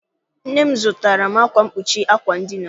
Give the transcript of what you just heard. Nne m zụtaara m akwa mkpuchi àkwà edina.